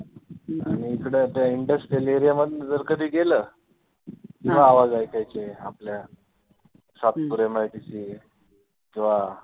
आणि इकडे आता industrial area मधनं जर गेलं, तर आवाज ऐकायचे आपल्या सातपुर MIDC किंवा